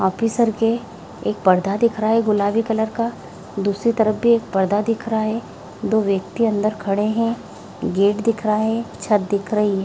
Officer के एक परदा दिख रहा है गुलाबी कलर का दुसरी तरफ भी एक परदा दिख रहा है दो व्यक्ति अंदर खड़े हैं गेट दिख रहा है छत दिख रही है।